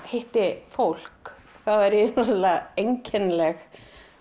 hitti fólk þá er ég rosalega einkennileg